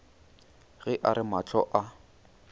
ge a re mahlo a